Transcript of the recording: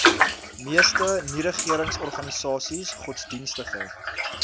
meeste nieregeringsorganisasies godsdienstige